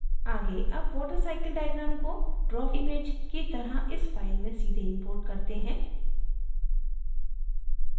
आगे अब watercycle diagram को draw image की तरह इस file में सीधे import करते हैं